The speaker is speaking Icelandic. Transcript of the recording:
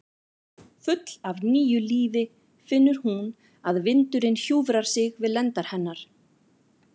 Full af nýju lífi finnur hún að vindurinn hjúfrar sig við lendar hennar.